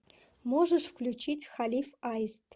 можешь включить халиф аист